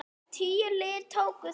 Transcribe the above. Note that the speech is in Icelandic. Tíu lið tóku þátt.